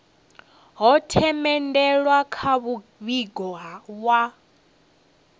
ho themendelwa kha muvhigo wa